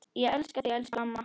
Ég elska þig, elsku amma.